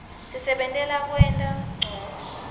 sisebentela kwenta ncono